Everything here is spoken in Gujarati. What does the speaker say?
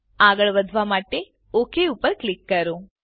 આગળ વધવા માટે ઓક ક્લિક કરો